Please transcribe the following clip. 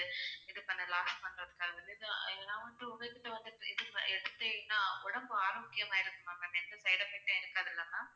இது பண்ண loss பண்ணலான்னுறதுக்காக நான் வந்து உங்க கிட்ட வந்து exercise எடுத்தேன்னா உடம்பு ஆரோக்கியம் ஆகிடுமா ma'am எந்த side effects உம் இருக்காதுல்ல ma'am